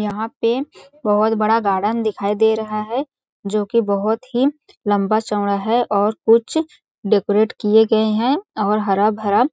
यहाँ पे बहोत बड़ा गार्डन दिखाई दे रहा है जोकि बहोत ही लम्बा चौड़ा है और कुछ डेकोरेट किए गए है और हरा-भरा